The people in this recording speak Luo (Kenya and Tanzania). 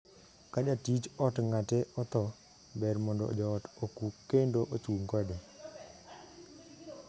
Ka jatij ot ng'ate othoo, ber mondo joot okuu kendo ochung' kode.